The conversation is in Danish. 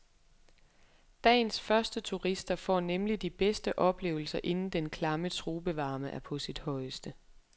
Dagens første turister får nemlig de bedste oplevelser inden den klamme tropevarme er på sit højeste.